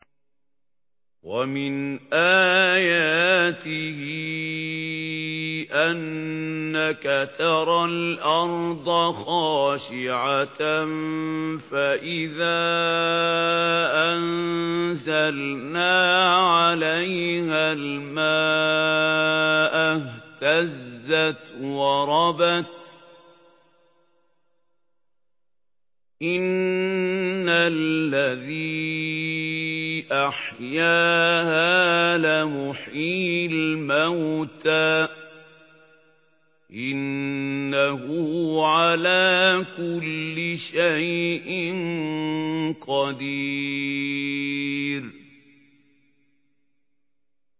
وَمِنْ آيَاتِهِ أَنَّكَ تَرَى الْأَرْضَ خَاشِعَةً فَإِذَا أَنزَلْنَا عَلَيْهَا الْمَاءَ اهْتَزَّتْ وَرَبَتْ ۚ إِنَّ الَّذِي أَحْيَاهَا لَمُحْيِي الْمَوْتَىٰ ۚ إِنَّهُ عَلَىٰ كُلِّ شَيْءٍ قَدِيرٌ